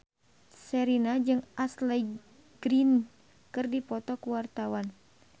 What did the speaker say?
Sherina jeung Ashley Greene keur dipoto ku wartawan